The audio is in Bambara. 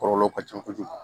Kɔlɔlɔ ka ca kojugu